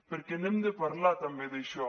perquè n’hem de parlar també d’això